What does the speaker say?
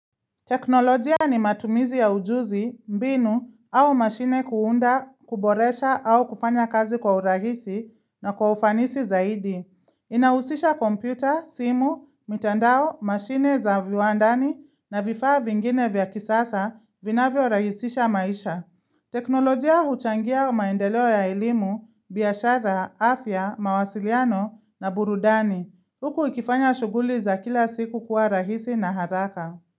Teknolojia ni matumizi ya ujuzi, mbinu au mashine kuunda, kuboresha au kufanya kazi kwa urahisi na kwa ufanisi zaidi. Inahusisha kompyuta, simu, mitandao, mashine za viwandani na vifaa vingine vya kisasa vinavyo rahisisha maisha. Teknolojia huchangia maendeleo ya elimu, biashara, afya, mawasiliano na burudani. Huku ikifanya shughuli za kila siku kuwa rahisi na haraka.